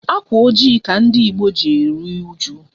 Ákwà ojii ka ndị Ìgbo ji eru uju.